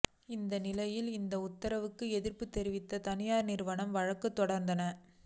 இந்த நிலையில் இந்த உத்தரவுக்கு எதிர்ப்பு தெரிவித்து தனியார் நிறுவங்கள் வழக்கு தொடர்ந்தனர்